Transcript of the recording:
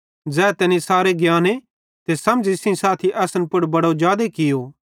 ज़ै तैनी सारे ज्ञान ते समझ़ सेइं साथी असन पुड़ बड़ो जादे कियो